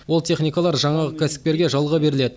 ол техникалар жаңағы кәсіпкерге жалға беріледі